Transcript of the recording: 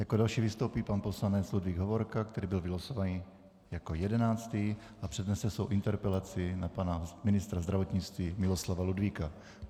Jako další vystoupí pan poslanec Ludvík Hovorka, který byl vylosovaný jako jedenáctý a přednese svou interpelaci na pana ministra zdravotnictví Miloslava Ludvíka.